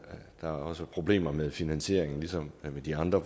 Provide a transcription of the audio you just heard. der er også problemer med finansieringen ligesom ved de andre